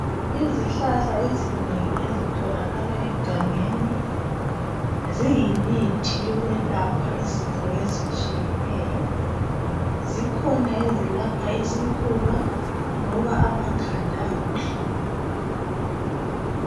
Izihlahla ezinengi ezitholakala egangeni ziyimithi yokwelapha izifo ezitshiyeneyo. zikhona ezelapha isifuba loba amakhanda abuhlungu.